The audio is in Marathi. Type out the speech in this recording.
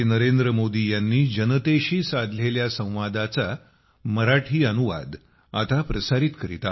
नवी दिल्ली 28 ऑगस्ट 2022